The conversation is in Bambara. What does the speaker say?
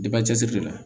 cɛsiri de la